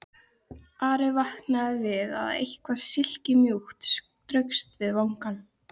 Ari vaknaði við að eitthvað silkimjúkt straukst við vangann.